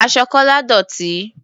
Aṣọ Kọ́lá dọ̀tí.